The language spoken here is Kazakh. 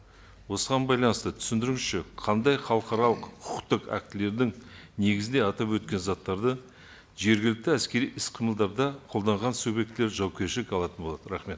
осыған байланысты түсіндіріңізші қандай халықаралық құқықтық актілердің негізінде атап өткен заттарды жергілікті әскери іс қимылдарда қолданған субъектілер жауапкершілік алатын болады рахмет